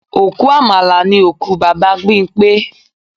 Òkú Àmàlà ni òkú Bàbá Bímpé